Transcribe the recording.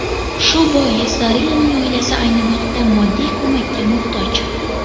Shu bois Zarinaning oilasi ayni vaqtda moddiy ko‘makka muhtoj.